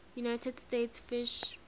united states fish